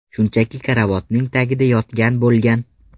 Shunchaki karavotning tagida yotgan bo‘lgan.